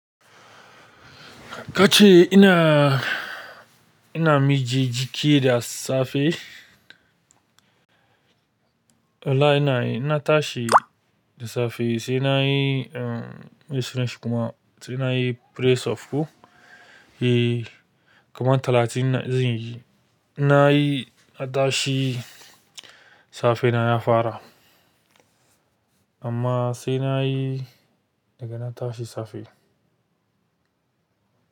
Kace ina, ina miji jiki da safe. Wallahi ina yi, ina tashi da safe sai na yi, eh, Miss French kuma sai na yi press up. Eh, kumar talatin zanyi. Na yi a tashi safe na ya fara. Amma sai na yi daga na tashi safe.